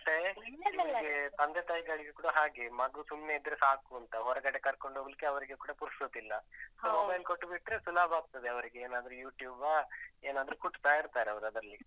ಮತ್ತೇ ತಂದೆತಾಯಿಗಳಿಗೆ ಕೂಡ ಹಾಗೇ, ಮಗು ಸುಮ್ನೆ ಇದ್ರೆ ಸಾಕೂಂತ, ಹೊರಗಡೆ ಕರ್ಕೊಂಡು ಹೋಗ್ಲಿಕ್ಕೆ ಅವ್ರಿಗೆ ಕೂಡ ಪುರ್ಸೊತ್ತಿಲ್ಲ. so mobile ಕೊಟ್ಟುಬಿಟ್ರೆ, ಸುಲಭ ಆಗ್ತದೆ ಅವರಿಗೆ ಏನಾದ್ರು YouTube ಆ, ಏನಾದ್ರೂ ಕುಟ್ತಾ ಇರ್ತಾರೆ ಅವ್ರು ಅದ್ರಲ್ಲಿ